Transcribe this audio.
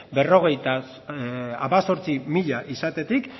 berrogeita hemezortzi mila izatetik